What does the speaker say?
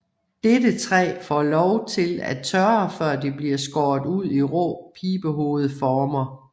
Dette træ får lov til at tørre før det bliver skåret ud i rå pibehovedformer